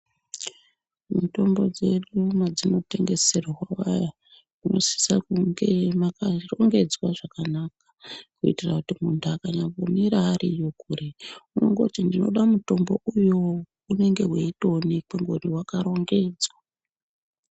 Mitombo dzedu dzinotengeserwa inosisa kunge yakarongedzwa zvakanaka kuitira kuti muntu akanyamura ariko unongoti ndinoda mutombo uyo unenge weitoonekwa nekuti wakarongedzwa.